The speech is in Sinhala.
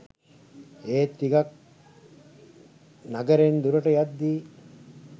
ඒත් ටිකක් නගරෙන් දුරට යද්දි